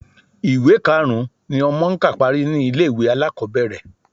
Ìwé karùn-ún ni ọmọ ń kà parí ni ilé-ìwé alákọ̀ọ́bẹ̀rẹ̀